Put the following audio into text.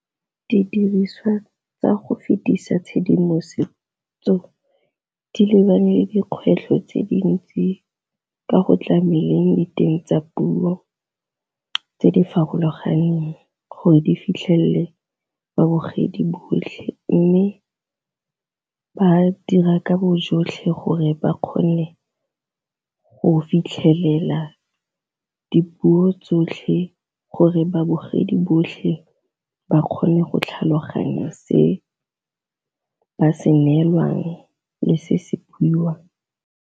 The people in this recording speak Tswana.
Didiriswa tsa go fetisa tshedimosetso di lebane le dikgwetlho tse dintsi ka go tlameleng diteng tsa puo tse di farologaneng gore di fitlhelele babogedi botlhe, mme ba dira ka bo jotlhe gore ba kgone go fitlhelela dipuo tsotlhe gore babogedi botlhe ba kgone go tlhaloganya se ba se neelwang le se se buiwang.